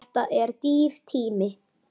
Þetta er dýr tími.